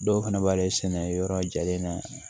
Dɔw fana b'ale sɛnɛ yɔrɔ jalen na